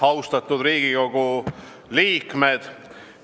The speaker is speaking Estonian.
Austatud Riigikogu liikmed!